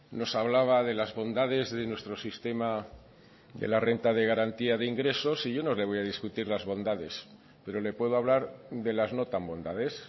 nos hablaba de las bondades de nuestro sistema de la renta de garantía de ingresos y yo no le voy a discutir las bondades pero le puedo hablar de las no tan bondades